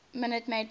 minute maid park